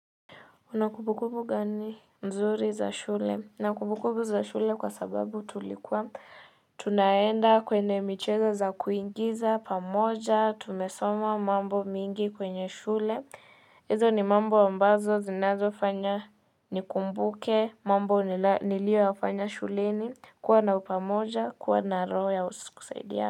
Kuna kumbukumbu gani nzuri za shule? Nina kumbukumbu za shule kwa sababu tulikuwa tunaenda kwenye michezo za kuingiza, pamoja, tumesoma mambo mengi kwenye shule. Hizo ni mambo ambazo zinazo fanya nikumbuke, mambo niliyoyafanya shuleni, kuwa na upamoja, kuwa na roho ya kusaidia.